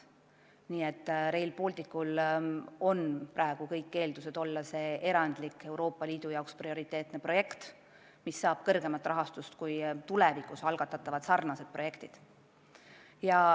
Nii et Rail Balticul on praegu kõik eeldused olla erandlik Euroopa Liidu jaoks prioriteetne projekt, mis saab kõrgema määraga rahastatud kui tulevikus algatatavad sarnased projektid.